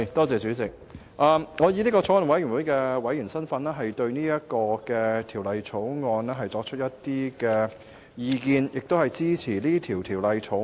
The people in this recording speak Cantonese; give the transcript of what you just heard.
主席，我以法案委員會委員的身份就《道歉條例草案》提出意見，並支持二讀《條例草案》。